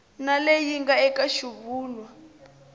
na leyi nga eka xivulwa